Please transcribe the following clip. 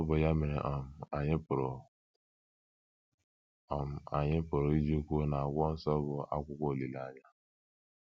Ọ bụ ya mere um anyị pụrụ um anyị pụrụ iji kwuo n'akwụkwọ nsọ bụ akwụkwọ olileanya.